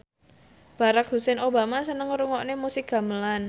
Barack Hussein Obama seneng ngrungokne musik gamelan